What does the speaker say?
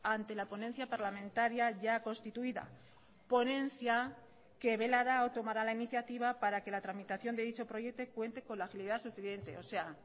ante la ponencia parlamentaria ya constituida ponencia que velará o tomará la iniciativa para que la tramitación de dicho proyecto cuente con la agilidad suficiente o sea